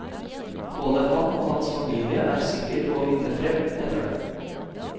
Både han og hans familie er sikker på å vinne frem, heter det.